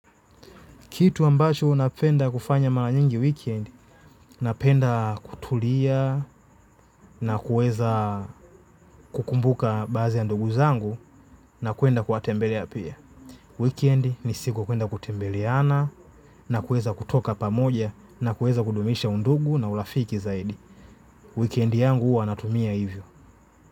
Kitu ambacho napenda kufanya maranyingi weekend, napenda kutulia na kuweza kukumbuka baadhi ya ndugu zangu na kuenda kuwatembelea pia. Weekend ni siku ya kuenda kutembeleana na kuweza kutoka pamoja na kuweza kudumisha undugu na urafiki zaidi. Weekend yangu huwa natumia hivyo.